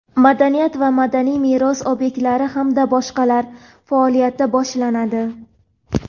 madaniyat va madaniy meros obyektlari hamda boshqalar) faoliyati boshlanadi.